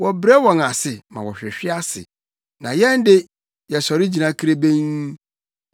Wɔbrɛ wɔn ase ma wɔhwehwe ase, na yɛn de, yɛsɔre gyina kirebenn.